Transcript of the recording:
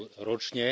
EUR ročne.